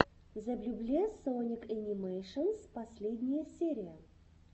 зэблюбле соник энимэйшенс последняя серия